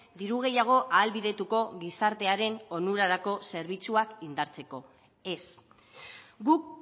diru gehiago ahalbidetuko gizartearen onurarako zerbitzuak indartzeko ez guk